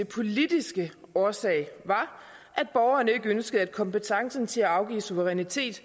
politiske årsag var at borgerne ikke ønskede at kompetencen til at afgive suverænitet